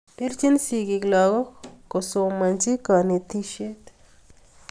Pirchini sikiik lakok kosomchanchi kanetishet